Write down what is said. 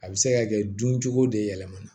A bɛ se ka kɛ dun cogo de yɛlɛmana